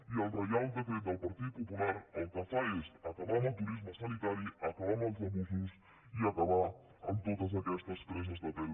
i el reial decret del partit popular el que fa és acabar amb el turisme sanitari acabar amb els abusos i acabar amb totes aquestes preses de pèl